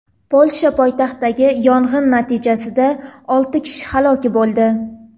Polsha poytaxtidagi yong‘in natijasida olti kishi halok bo‘ldi.